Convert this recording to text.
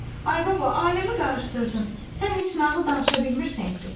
Ay baba, aləmi qarışdırdın, sən heç nağıl danışa bilmirsən ki?